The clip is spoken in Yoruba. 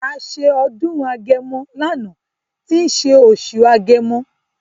A ṣe ọdún agẹmọ lánàá tí ń ṣe oṣù agẹmọ.